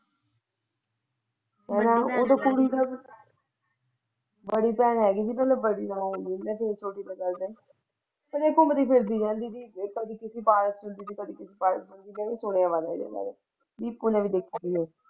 ਉਹ ਤੇ ਘੁੰਮਦੀ ਫ਼ਿਰਦੀ ਰਹਿੰਦੀ ਸੀ ਕਦੀ ਕਿੱਥੇ ਪਾਇਆ ਤੇ ਕਿੱਥੇ ਪਈ ਸੁਣਾਇਆ ਉਹਦੇ ਬਾਰੇ ਨੀਤੂ ਨੇ।